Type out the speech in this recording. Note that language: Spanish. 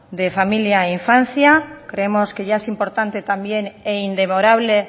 de familia e infancia creemos que ya es importante también e indemorable